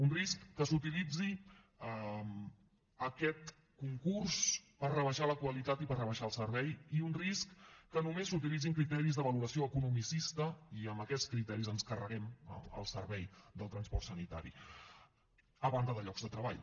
un risc que s’utilitzi aquest concurs per rebaixar la qualitat i per rebaixar el servei i un risc que només s’utilitzin criteris de valoració economicista i amb aquests criteris ens carreguem el servei del transport sanitari a banda de llocs de treball